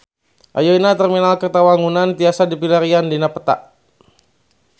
Ayeuna Terminal Kertawangunan tiasa dipilarian dina peta